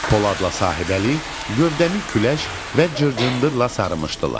Poladla Sahəbəli gövdəmi küləş və cırcındırla sarımışdılar.